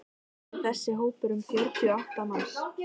Alls er þessi hópur um fjörutíu manns.